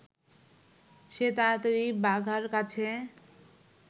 সে তাড়াতাড়ি বাঘার কাছে